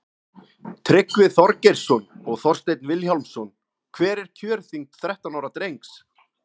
tryggvi þorgeirsson og þorsteinn vilhjálmsson hver er kjörþyngd þrettán ára drengs